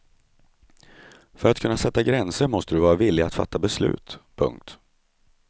För att kunna sätta gränser måste du vara villig att fatta beslut. punkt